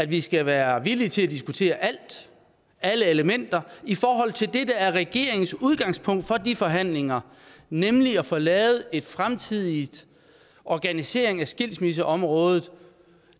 vi skal være villige til at diskutere alt alle elementer i forhold til det der er regeringens udgangspunkt for de forhandlinger nemlig at få lavet en fremtidig organisering af skilsmisseområdet